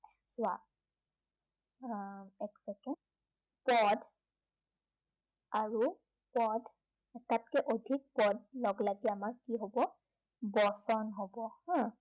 চোৱা আহ এক চেকেণ্ড, পদ আৰু পদ এটাতকৈ অধিক পদ লগ লাগি আমাৰ কি হব, বচন হব হা